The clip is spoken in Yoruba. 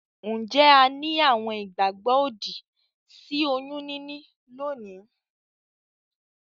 Njé a ni àwon ìgbàgbó òdì sí oyún níní lónìí?